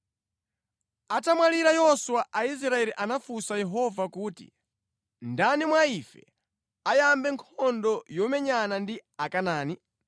Atamwalira Yoswa Aisraeli anafunsa Yehova kuti, “Ndani mwa ife ayambe nkhondo yomenyana ndi Akanaani?”